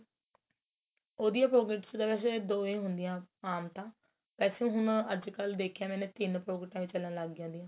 ਉਹਦਿਆ pockets ਤਾਂ ਵੇਸੇ ਦੋ ਹੀ ਹੁੰਦੀਆਂ ਆਮ ਤਾਂ ਵੇਸੇ ਹੁਣ ਅੱਜਕਲ ਦੇਖਿਆ ਮੈਨੇ ਤਿੰਨ ਪੋਕੀਟਾ ਚਲਣ ਲੱਗ ਜਾਂਦੀਆ